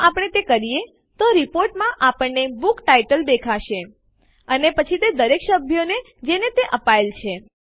જો આપણે તે કરીએ તો રીપોર્ટમાં આપણને બુક ટાઇટલ દેખાશે અને પછી દરેક સભ્યો જેને તે અપાયેલ છે